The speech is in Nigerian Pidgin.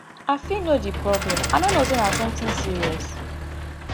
i fit know di problem i no know say na something serious